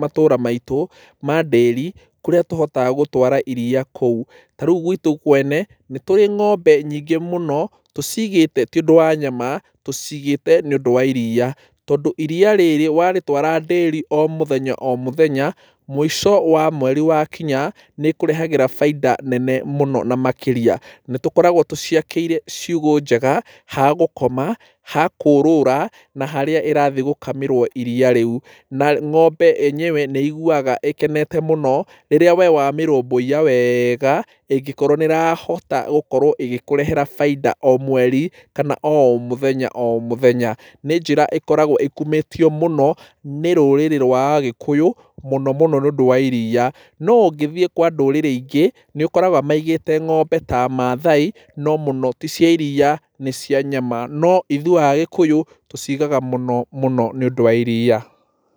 matũra maitũ madĩri kũrĩa tũhotaga gũtwara iria kũu. Ta rĩu gwitũ kwene nĩ tũrĩ ng'ombe nyingĩ mũno tũciigĩte ti ũndũ wa nyama, tũciigĩte nĩ ũndũ wa iria. Tondũ iria rĩrĩ warĩtwara dĩri o mũthenya o mũthenya, mũico wa mweri wa kinya, nĩ ĩkũrehagĩra baita nene mũno na makĩria. Nĩ tũkoragwo tũciakĩire ciugũ njega, ha gũkoma, ha kũũrũra na harĩa ĩrathiĩ gũkamĩrwo iria rĩu. Na ng'ombe enyewe nĩ ĩiguaga ĩkenete mũno rĩrĩa we wamĩrũmbũiya wega ĩngĩkorwo nĩ ĩrahota gũkorwo ĩgĩkũrehera baita o mweri kana o mũthenya o mũthenya. Nĩ njĩra ĩkorago ĩkumĩtio mũno nĩ rũrĩrĩ rwa agĩkũyũ mũno mũno nĩ ũndũ wa iria. No ũngĩthiĩ kwa ndũrĩrĩ ingĩ, nĩ ũkoraga maigĩte ng'ombe ta Maathai no mũno ti cia iria nĩ cia nyama. No ithuĩ agĩkũyũ tũcigaga mũno mũno nĩ ũndũ wa iria.